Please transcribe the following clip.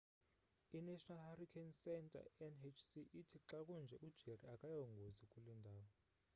i-national hurricane center nhc ithi xa kunje u-jerry akayongozi kule ndawo